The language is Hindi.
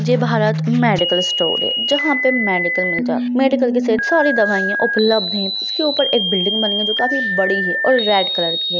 जय भारत मेडिकल स्टोर है जहाँ पे मेडिकल मिल जाता मेडिकल के सेट सारी दवाइयाँ उपलब्ध है उसके ऊपर एक बिल्डिंग बनी है जो काफी बड़ी है और रेड कलर की है।